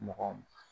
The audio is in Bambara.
Mɔgɔ